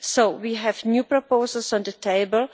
So we have new proposals on the table.